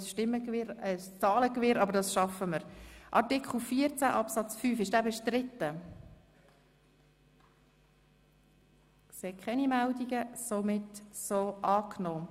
Dann werden wir noch ein bisschen ein grösseres Zahlengewirr bekommen, aber das werden wir schon schaffen.